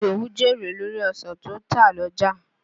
Ìdòwú jèrè lórí ọ̀san tó tà l'ọ́jà.